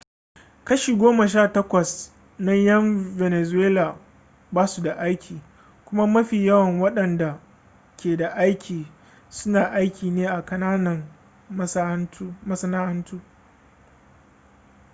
kashi goma sha takwas na ƴan venezuela ba su da aiki kuma mafi yawan waɗanda ke da aiki suna aiki ne a kananan masana'antu